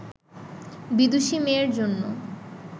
বিদুষী মেয়ের জন্য